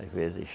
Às vezes...